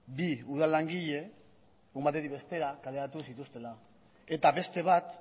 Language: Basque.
bi udal langile egun batetik bestera kaleratu zituztela eta beste bat